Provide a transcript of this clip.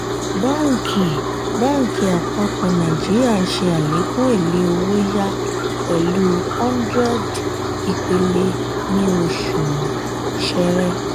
báǹkì báǹkì àpapọ̀ nàìjíríà ṣe àlékún èlé owó-yá pẹ̀lú 100 ìpìlè ní oṣù ṣẹrẹ.